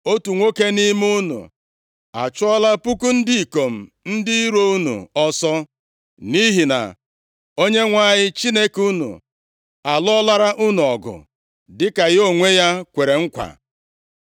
Otu nwoke nʼime unu achụọla puku ndị ikom ndị iro unu ọsọ. Nʼihi na Onyenwe anyị Chineke unu alụọlara unu ọgụ, dịka ya onwe ya kwere nkwa.